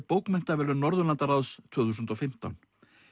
bókmenntaverðlaun Norðurlandaráðs tvö þúsund og fimmtán